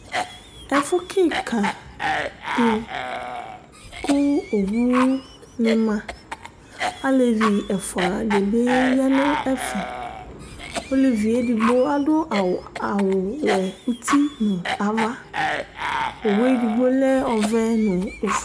Ɛfʋ kìka di kʋ owu ni ma Alevi ɛfʋa di bi ya nʋ ɛfɛ Ɔlevi ye ɛdigbo adu awu wɛ ʋti nʋ ava Owu ɛdigbo ɔlɛ ɔvɛ nʋ ɔfʋe